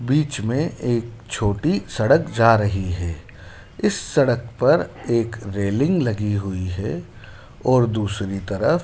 बीच मे एक छोटी सड़क जा रही है इस सड़क पर एक रेलिंग लगी हुई है और दूसरी तरफ--